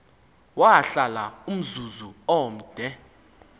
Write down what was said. wahlala umzuzu omde